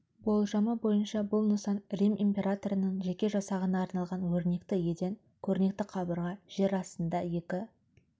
болжамы бойынша бұл нысан рим императорының жеке жасағына арналған өрнекті еден көрнекті қабырға жер астында екі